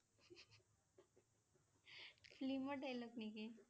film ৰ dialogue নেকি?